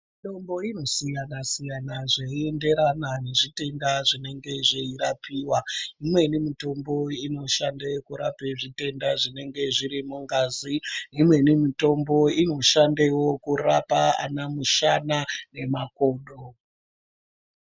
Mitombo inosiyana siyana zveienderana nezvitenda zvinenge zveirapiwa imweni mitombo inoshande kurape zvitenda zvinenge zviri mungazi, imweni mitombo inoshandewo kurapa anamushana nemakodo.